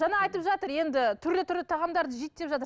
жаңа айтып жатыр енді түрлі түрлі тағамдарды жейді деп жатыр